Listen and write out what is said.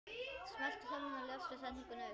Ráðgjöf stendur víða til boða.